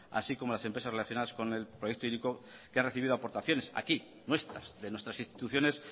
así como las empresas relacionadas con el proyecto hiriko que han recibido aportaciones aquí nuestras de nuestras instituciones